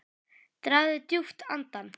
Dragðu djúpt andann!